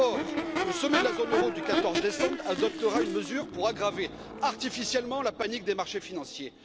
Or, le sommet de la zone euro du 14 décembre adoptera une mesure pour aggraver artificiellement la panique des marchés financiers.